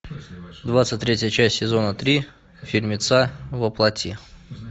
двадцать третья часть сезона три фильмеца во плоти